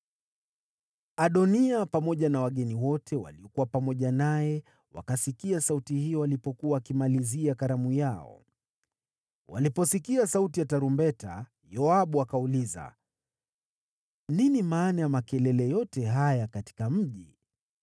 Adoniya pamoja na wageni wote waliokuwa pamoja naye wakasikia sauti hiyo walipokuwa wakimalizia karamu yao. Waliposikia sauti ya tarumbeta, Yoabu akauliza, “Nini maana ya makelele yote haya katika mji?”